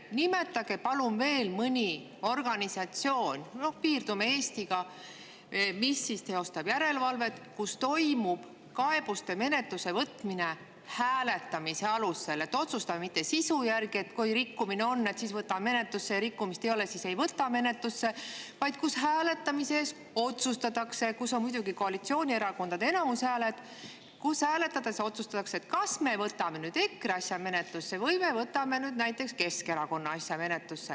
Nimetage palun veel mõni järelevalvet teostav organisatsioon – noh, piirdume Eestiga –, kus toimub kaebuste menetlusse võtmine hääletamise alusel, kus ei otsustata mitte sisu järgi, et kui rikkumine on, siis võetakse menetlusse, ja kui rikkumist ei ole, siis ei võeta menetlusse, vaid kus hääletamisel, kus muidugi koalitsioonierakondadel on enamushääled, otsustatakse, kas võetakse menetlusse näiteks EKRE asi või võetakse menetlusse Keskerakonna asi.